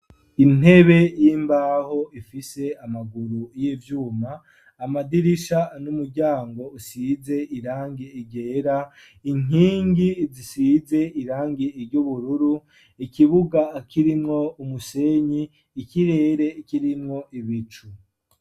Intebe y'imbaho ifise amaguru y'ivyuma amadirisha n'umuryango usize irangi ryera inkingi zisize irangi ry'ubururu ikibuga kirimwo umusenyi ikirere kirinwo ibicu.